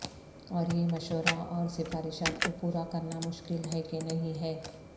اور یہ مشورہ اور سفارشات کو پورا کرنا مشکل ہے کہ نہیں ہے